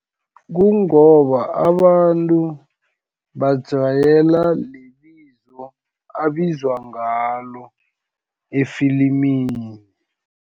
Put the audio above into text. Kungoba abantu, bajwayela lelibizo abizwa ngalo efilimini.